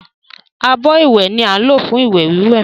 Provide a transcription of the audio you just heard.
Abọ́ ìwẹ̀ ni á ń lò fún ìwẹ̀ wíwẹ̀